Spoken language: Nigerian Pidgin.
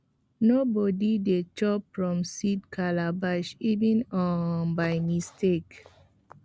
nobody dey chop from seed calabash even um by mistake